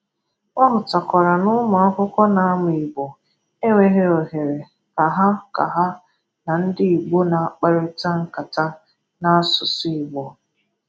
Ọ hụtakwara na ụmụ akwụkwo ̣na-amụ Igbo enweghi ohere ka ha ka ha na ndị Igbo na-akparịta nkata n'asụsụ Igbo